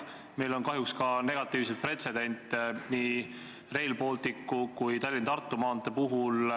Meil on kahjuks ka negatiivseid pretsedente nii Rail Balticu kui ka Tallinna–Tartu maantee puhul.